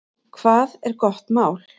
Hvað er gott mál?